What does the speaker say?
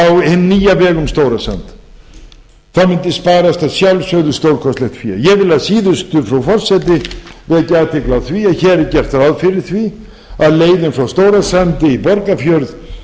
hinn nýja veg um stórasand mundi sparast að sjálfsögðu stórkostlegt fé ég vil að síðustu frú forseti vekja athygli á því að hér er gert ráð fyrir því að leiðin frá stórasandi í borgarfjörð